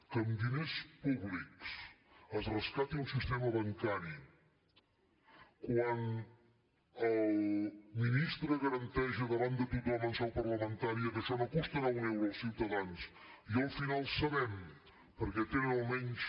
que amb diners públics es rescati un sistema bancari quan el ministre garanteix davant de tothom en seu parlamentària que això no costarà un euro als ciutadans i al final sabem perquè tenen almenys